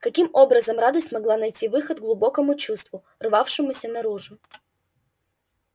каким образом радость могла найти выход глубокому чувству рвавшемуся наружу